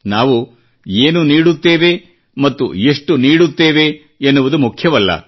ನಾವು ಏನು ನೀಡುತ್ತೇವೆ ಮತ್ತು ಎಷ್ಟು ನೀಡುತ್ತೇವೆ ಎನ್ನುವುದು ಮುಖ್ಯವಲ್ಲ